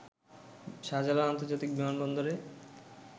শাহজালাল আন্তর্জাতিক বিমানবন্দরে